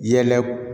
Yɛlɛ